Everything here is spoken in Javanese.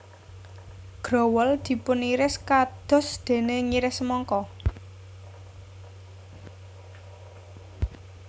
Growol dipuniris kados dene ngiris semangka